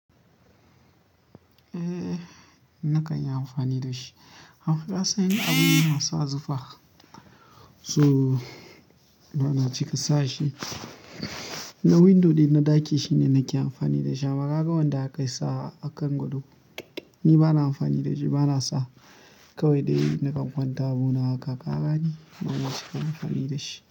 Eh, na kan yi amfani da shi. An fi nasan yin abun nan sa zufa, so bana cika sa shi. Na window ɗai da na ɗaki shine nake amfani da shi. Amma kaga wanda aka sawa kan gado, ni bana amfani da shi, bana sa. Kawai dai nakan kwanta abu na haka kagane bana cika amfani da shi.